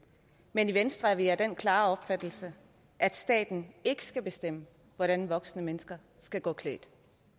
men i venstre er vi af den klare opfattelse at staten ikke skal bestemme hvordan voksne mennesker skal gå klædt